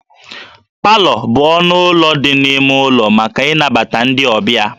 Palọ bụ ọnụ ụlọ dị n'ime ụlọ maka ịnabata ndị ọbịa